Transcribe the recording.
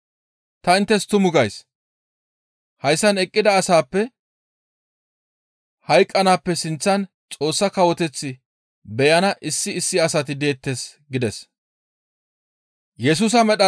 Ta inttes tumu gays; hayssan eqqida asaappe hayqqanaappe sinththan Xoossa Kawoteth beyana issi issi asati deettes» gides.